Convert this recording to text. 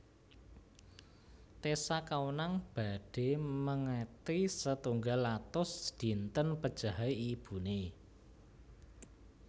Tessa Kaunang badhe mengeti setunggal atus dinten pejahe ibune